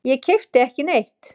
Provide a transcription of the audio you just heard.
Ég keypti ekki neitt.